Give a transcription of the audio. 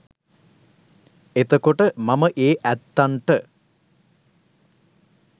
එතකොට මම ඒ ඇත්තන්ට